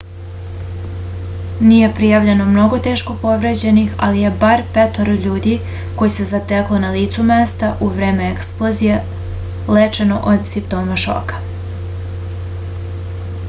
nije prijavljeno mnogo teško povređenih ali je bar petoro ljudi koje se zateklo na licu mesta u vreme eksplozije lečeno od simptoma šoka